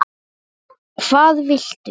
hvað viltu?